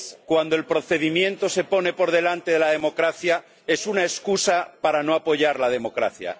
Cuando el procedimiento se pone por delante de la democracia es una excusa para no apoyar la democracia.